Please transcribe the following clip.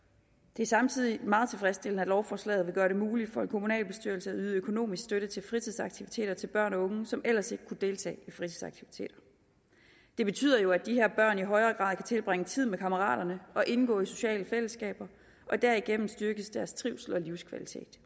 det er samtidig meget tilfredsstillende at lovforslaget vil gøre det muligt for en kommunalbestyrelse at yde økonomisk støtte til fritidsaktiviteter til børn og unge som ellers ikke kunne deltage i fritidsaktiviteter det betyder jo at de her børn i højere grad kan tilbringe tid sammen med kammeraterne og indgå i sociale fællesskaber og derigennem styrkes deres trivsel og livskvalitet